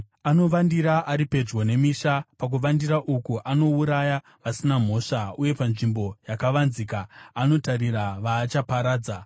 Anovandira ari pedyo nemisha; pakuvandira uku anouraya vasina mhosva, ari panzvimbo yakavanzika anotarira vaachaparadza.